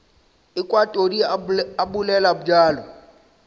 ekwa todi a bolela bjalo